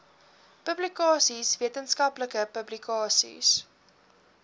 publikasies wetenskaplike publikasies